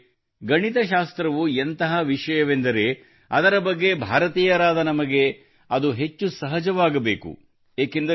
ಸ್ನೇಹಿತರೇ ಗಣಿತಶಾಸ್ತ್ರವು ಎಂತಹ ವಿಷಯವೆಂದರೆ ಅದರ ಬಗ್ಗೆ ಭಾರತೀಯರಾದ ನಮಗೆ ಅದು ಹೆಚ್ಚು ಸಹಜವಾಗಬೇಕು